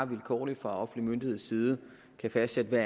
vilkårligt fra offentlige myndigheders side kan fastsætte hvad